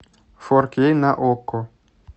форкей на окко